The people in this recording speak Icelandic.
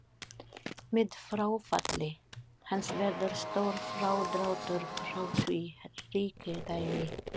Með fráfalli hans verður stór frádráttur frá því ríkidæmi.